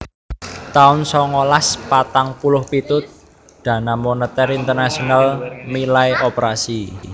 taun songolas patang puluh pitu Dana Moneter Internasional milai operasi